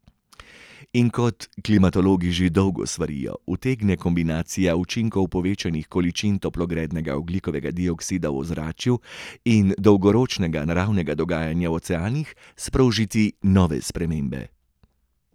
In kot klimatologi že dolgo svarijo, utegne kombinacija učinkov povečanih količin toplogrednega ogljikovega dioksida v ozračju in dolgoročnega naravnega dogajanja v oceanih sprožiti nove spremembe.